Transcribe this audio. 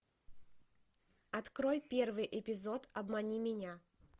открой первый эпизод обмани меня